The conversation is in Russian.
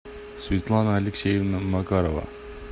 светлана алексеевна макарова